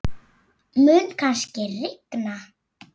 Mun kannski rigna?